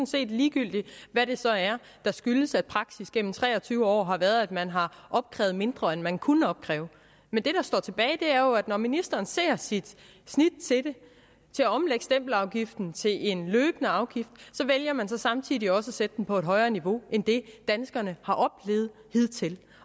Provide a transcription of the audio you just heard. set ligegyldigt hvad det så er der skyldes at praksis gennem tre og tyve år har været at man har opkrævet mindre end man kunne opkræve men det der står tilbage er jo at når ministeren ser sit snit til at omlægge stempelafgiften til en løbende afgift så vælger man samtidig også at sætte den på højere niveau end det danskerne har oplevet hidtil